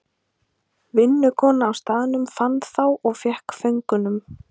Vinnukona á staðnum fann þá og fékk föngunum.